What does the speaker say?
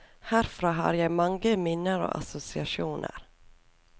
Herfra har jeg mange minner og assosiasjoner.